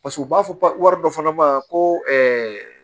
Paseke u b'a fɔ wari dɔ fana ma ko